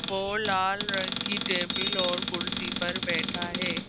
वह लाल रंग की टेबल और कुर्सी पर बैठा है।